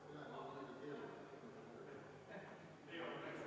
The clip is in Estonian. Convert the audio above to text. Palun võtta seisukoht ja hääletada!